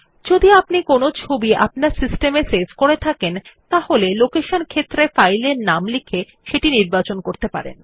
যদি আপনি কোনো ছবি আপনার সিস্টেম এ সেভ করে থাকেন তাহলে লোকেশন ক্ষেত্রে ফাইলের নাম লিখে সেটি নির্বাচন করতে পারেন